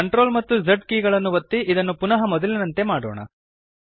CTRL ಮತ್ತು Z ಕೀಲಿಗಳನ್ನು ಒತ್ತಿ ಇದನ್ನು ಪುನಃ ಮೊದಲಿನಂತೆಯೇ ಮಾಡೋಣ